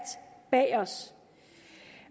bag os